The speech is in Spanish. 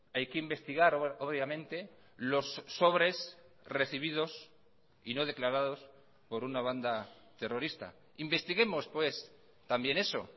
hay que investigar obviamente los sobres recibidos y no declarados por una banda terrorista investiguemos pues también eso